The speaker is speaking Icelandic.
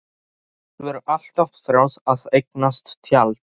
Hún hefur alltaf þráð að eignast tjald.